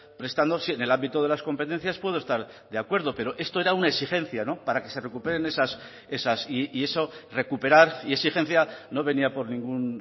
prestándose en el ámbito de las competencias puedo estar de acuerdo pero esto era una exigencia para que se recuperen esas y eso recuperar y exigencia no venía por ningún